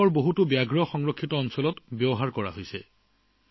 দেশৰ বহু বাঘ সংৰক্ষিত বনাঞ্চলত ইয়াৰ ব্যৱহাৰ চলি আছে